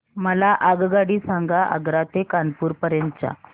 मला आगगाडी सांगा आग्रा ते कानपुर पर्यंत च्या